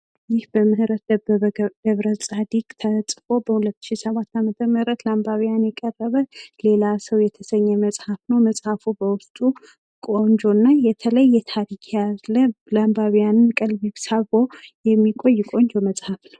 ይህ በምህረት ደበበ ገብረጻድቅ ተጽፎ በ2007 ዓ.ም ለአንባቢያን የቀረበ ሌላ ሰው የተሰኘ መጽሐፍ ነው። መጽሐፉ በውስጡ ቆንጆና የተለየ ታሪክ ያለው ለአንባቢያን ልብን ሰብሮ የሚቆይ ልዩ መጽሐፍ ነው።